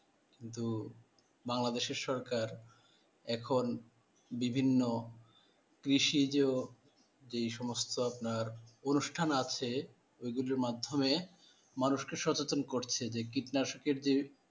বাংলাদেশের সরকার এখন বিভিন্ন কৃষিজ এই সমস্ত আপনার অনুষ্ঠান আছে ও গুলোর মাধ্যমে মানুষ কে সচেতন করছে যে কীটনাশকের যে।